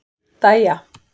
Dæja